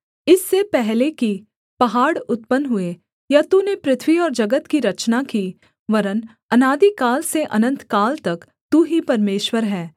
इससे पहले कि पहाड़ उत्पन्न हुए या तूने पृथ्वी और जगत की रचना की वरन् अनादिकाल से अनन्तकाल तक तू ही परमेश्वर है